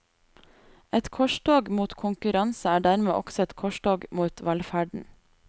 Et korstog mot konkurranse er dermed også et korstog mot velferden.